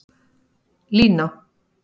Lína